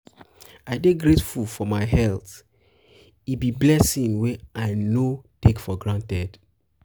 i dey grateful for my health; e be blessing wey i no take for granted.